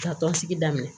Ka tɔn sigi daminɛ